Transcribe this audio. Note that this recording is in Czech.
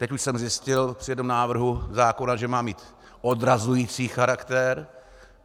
Teď už jsem zjistil při tom návrhu zákona, že má mít odrazující charakter.